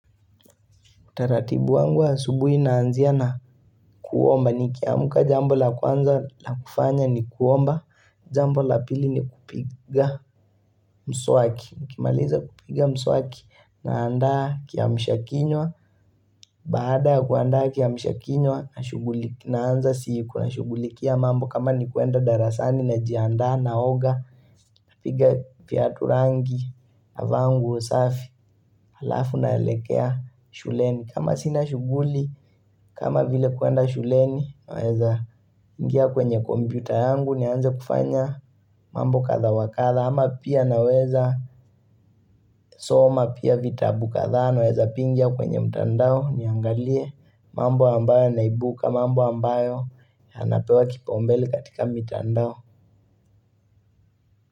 Utaratibu wangu wa asubuhi naanzia na kuomba nikiamka jambo la kwanza la kufanya ni kuomba Jambo la pili ni kupiga mswaki nikimaliza kupiga mswaki, naanda kiamsha kinywa Baada ya kuandaa kiamsha kinywa nashughulikia naanza siku nashugulikia mambo kama ni kuenda darasani najiandaa naoga piga viatu rangi, navaa nguo safi halafu naelekea shuleni kama sina shughuli, kama vile kuenda shuleni, naweza ingia kwenye kompyuta yangu, nianze kufanya mambo kadha wa kadha, ama pia naweza soma, pia vitabu kadhaa, naweza pia ingia kwenye mtandao niangalie mambo ambayo yanaibuka, mambo ambayo, yanapewa kipaombele katika mitandao.